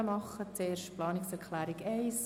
Zuerst stimmen wir über die Planungserklärung 1 ab.